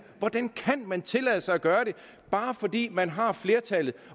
hvordan kan man tillade sig at gøre det bare fordi man har flertallet